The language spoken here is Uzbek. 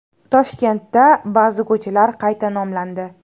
Toshkentda ba’zi ko‘chalar qayta nomlandi.